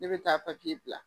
Ne bɛ taa papiye bila